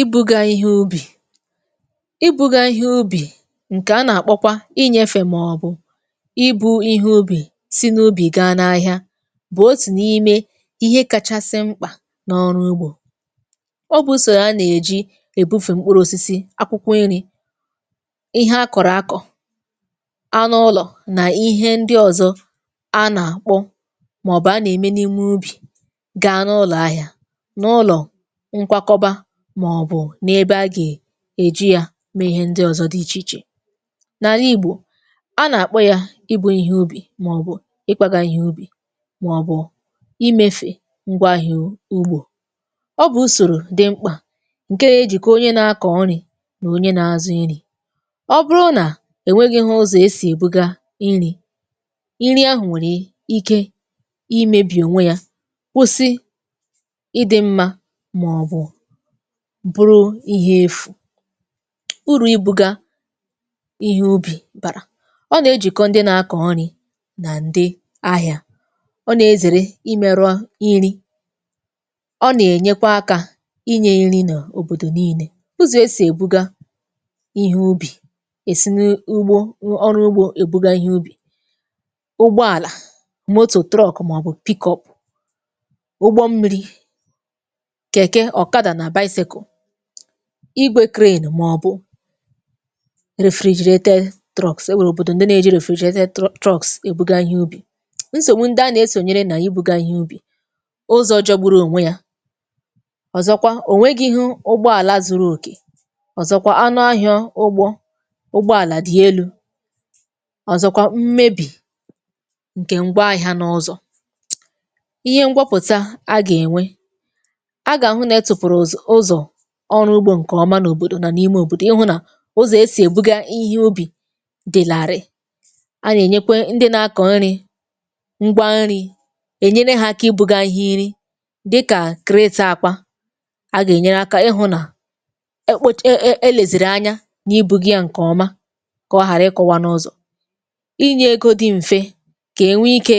Ibuga ihe ubì. Ibuga ihe ubì ǹkè a nà-àkpọkwa inyėfè màọbụ̀ ibu̇ ihe ubì si n'ubi gaa n’ahịa, bụ̀ otù n’ime ihe kachasị mkpà n’ọrụ ugbò. Ọ bụ̇ sò ya nà-èji èbufè mkpụrụ̇osisi, akwụkwọ iri̇, ihe akọ̀rọ̀ akọ̀, anụ ụlọ̀ nà ihe ndị ọzọ a nà-àkpọ màọbụ̀ a nà-ème n’ime ubì gàa n’ụlọ̀ ahịa, n'ụlọ nkwakoba, maọbu n’ebe a gà-èji yȧ mee ihe ndị ọ̀zọ dị ichè ichè. Nà àlà igbò, a nà-àkpọ yȧ ibu̇ ihe ubì, màọbụ̀ ịkwȧgȧ ihe ubì, màọbụ̀ imefè ngwa ahịa ugbȯ. Ọ bụ̀ usòrò dị mkpà ǹke ya ejìkọ onye na-akọ̀ nrị̀ nà onye na-azụ nri̇. Ọ bụrụ nà ènweghi̇ghi ụzọ̀ e sì èbụga iri̇, iri ahụ̀ nwèrè ike imėbì ònwe yȧ, kwụsị ịdị mma, maọbu bụrụ ihe efù. Uru ịbụgȧ ihe ubi̇ bàrà: ọ nà-ejìkọ ndị nà-akọ̀ irị̇ nà ǹdị ahịa, ọ nà-ezère imẹ̇rụ̇a nri̇, ọ nà-ènyekwa akȧ inyė nri̇ n’òbòdò niilė. Ụzọ̀ esì èbuga ihe ubì, èsi n’ugbo ọrụ ugbȯ èbuga ihe ubì, ụgbọàlà, màọbụ̀, ụgbọ mmiri̇, keke, ọkada na, igwė màọbụ̀, enwèrè òbòdò ǹdị nà-èji è bùgaa ihe ubì. Nsògbu ndịa nà-esònyere nà ibù gaa ihe ubì: ụzọ̇ jọgbụrụ ònwe yȧ, ọ̀zọkwa ònwegighụ ụgbọàlà zuru òkè, ọ̀zọkwa anụ ahịọ ụgbọ ụgbọàlà dị elu̇, ọ̀zọkwa mmebì ǹkè ngwa ahịȧ n’ụzọ̇. Ihe ngwọpụ̀ta a gà-ènwe, a ga ahụ na etufụrụ ụz ụzọ̀ ọrụ ugbȯ ǹkè ọma n’òbòdò nà n’ime òbòdò, ịhụ̇ nà ụzọ̀ esì èbuga ihe ubì dị̀làrị, a yà ènyekwe ndị nȧ-akọ̀ nri̇ ngwa nri̇, ènyere hȧ akȧ ibụ̇ga ihe inri̇ dịkà akwa, a gà-ènyere akȧ ịhụ̇ nà ekpòch e elezìrì anya nà ibụ̇gia ǹkè ọma kà ọ ghàra ịkụwa n’ụzọ̀. Inyė egȯ dị m̀fe, kà enwe ike